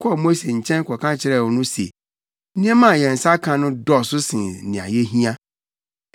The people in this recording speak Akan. kɔɔ Mose nkyɛn kɔka kyerɛɛ no se, “Nneɛma a yɛn nsa aka no dɔɔso sen nea yehia.”